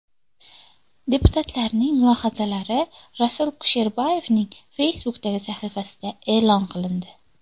Deputatlarning mulohazalari Rasul Kusherboyevning Facebook’dagi sahifasida e’lon qilindi .